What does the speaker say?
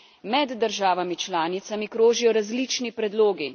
Med državami članicami krožijo različni predlogi.